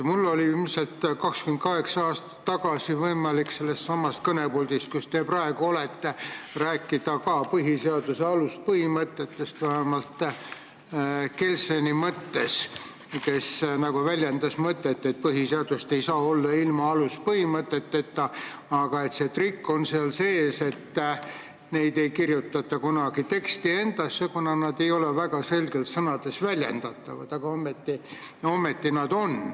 Mul oli 28 aastat tagasi võimalik sellestsamast kõnepuldist, kus teie praegu olete, rääkida ka põhiseaduse aluspõhimõtetest, vähemalt Kelseni mõttes, kes on väljendanud mõtet, et põhiseadust ei saa olla ilma aluspõhimõteteta, aga see trikk on seal sees, et neid ei kirjutata kunagi teksti endasse, kuna nad ei ole väga selgelt sõnades väljendatavad, aga ometi nad on olemas.